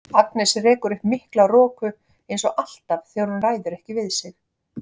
Agnes rekur upp mikla roku eins og alltaf þegar hún ræður ekki við sig.